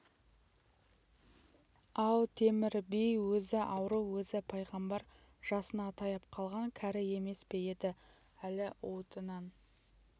ау темір би өзі ауру өзі пайғамбар жасына таяп қалған кәрі емес пе еді әлі уытынан